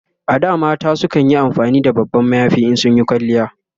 A da mata kanyi amfani da babban mayafi in sun Yi kwalliya